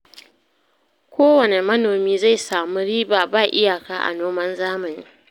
Kowanne manomi zai samu riba ba iyaka a noman zamani